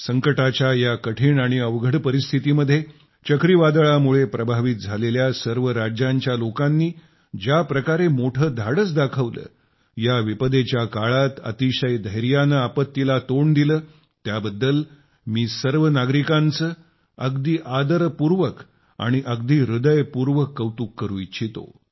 संकटाच्या या कठिण आणि अवघड परिस्थितीमध्ये चक्रीवादळामुळे प्रभावित झालेल्या सर्व राज्यांच्या लोकांनी ज्या प्रकारे मोठे धाडस दाखवले या विपदेच्या काळात अतिशय धैर्यानं आपत्तीला तोंड दिलं त्याबद्दल मी सर्व नागरिकांचं अगदी आदरपूर्वक आणि अगदी हृदयपूर्वक कौतुक करू इच्छितो